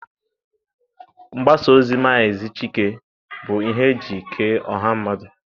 Mgbasa ozi Maazị Chike bụ ihe eji kee ọha mmadụ.